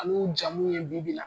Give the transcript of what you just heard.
An'u jamu ye bi bi la .